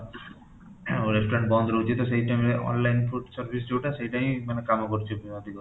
restaurant ବନ୍ଦ ରହୁଛି ତ ସେଇ time ରେ online food service ଯୋଉଟା ସେଇଟା ହିଁ ମେନେ କାମ କରୁଛି ଅଧିକ